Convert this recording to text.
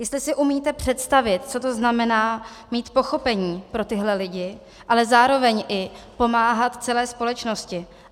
Jestli si umíte představit, co to znamená mít pochopení pro tyhle lidi, ale zároveň i pomáhat celé společnosti.